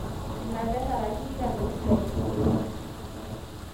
Ina petaraki Iran o Israel te syria